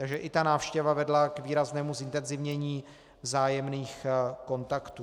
Takže i ta návštěva vedla k výraznému zintenzivnění vzájemných kontaktů.